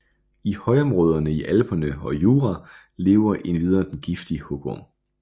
I højområderne i Alperne og Jura lever endvidere den giftige hugorm